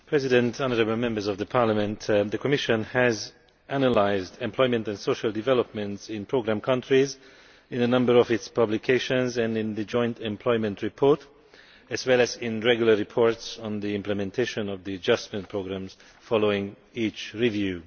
Madam President, the Commission has analysed employment and social developments in programme countries in a number of its publications and in the Joint Employment Report, as well as in regular reports on the implementation of the adjustment programmes following each review.